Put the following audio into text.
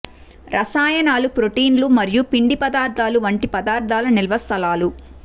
రసాయనాలు ప్రోటీన్లు మరియు పిండి పదార్ధాలు వంటి పదార్థాల నిల్వ స్థలాలు